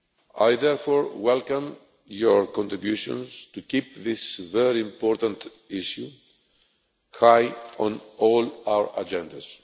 I therefore welcome your contributions to keep this very important issue high on all our agendas.